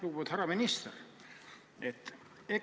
Lugupeetud härra minister!